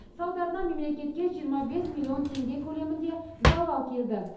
салдарынан мемлекетке жиырма бес миллион теңге көлемінде залал келді